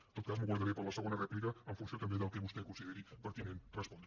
en tot cas m’ho guardaré per a la segona rèplica en funció també del que vostè consideri pertinent respondre